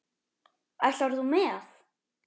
Ætlar þú með?